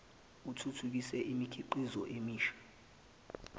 uthuthukise imikhiqizo emisha